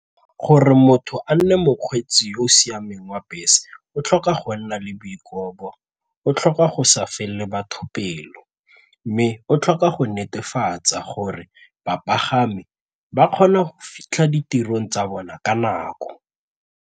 Gore motho a nne mokgweetsi yo o siameng wa bese o tlhoka go nna le boikobo, o tlhoka go sa felele batho pelo mme o tlhoka go netefatsa gore bapagami ba kgona go fitlha ditirong tsa bona ka nako.